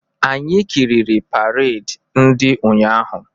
Anyị kiriri paredi ndị ụnyaahụ.